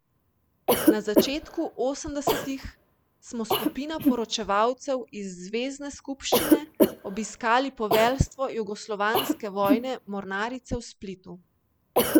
Na začetku osemdesetih smo skupina poročevalcev iz zvezne skupščine obiskali poveljstvo Jugoslovanske vojne mornarice v Splitu.